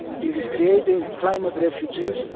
It is creating climate refugees.